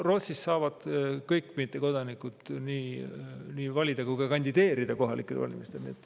Rootsis saavad kõik mittekodanikud nii valida kui ka kandideerida kohalikel valimistel.